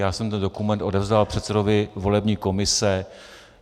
Já jsem ten dokument odevzdal předsedovi volební komise.